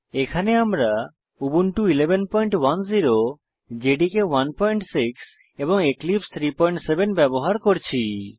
এখানে আমরা Ubuntu 1110 JDK 16 এবং এবং এক্লিপসে 37 ব্যবহার করছি